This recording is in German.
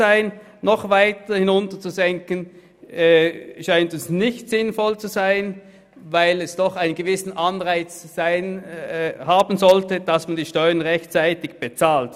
Eine weitere Senkung erachten wir als nicht zweckmässig, weil es doch einen gewissen Anreiz geben sollte, die Steuern rechtzeitig zu bezahlen.